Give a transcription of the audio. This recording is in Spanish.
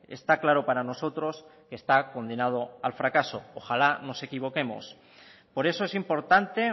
está claro para nosotros que está condenado al fracaso ojalá nos equivoquemos por eso es importante